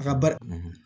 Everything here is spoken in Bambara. A ka bari